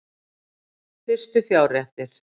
Fyrstu fjárréttir